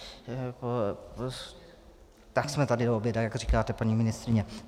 Tak jsme tady do oběda, jak říkáte, paní ministryně.